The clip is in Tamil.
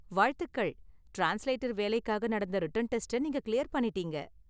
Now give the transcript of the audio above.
வாழ்த்துக்கள்! டிரான்ஸ்லேட்டர் வேலைக்காக நடந்த ரிட்டன் டெஸ்ட நீங்க கிளியர் பண்ணிடீங்க.